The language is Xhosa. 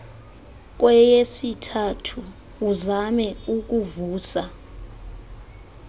kweyesithathu uzame ukuvusa